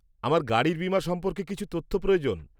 -আমার গাড়ির বীমা সম্পর্কে কিছু তথ্য প্রয়োজন।